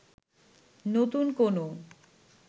নতুন কোনও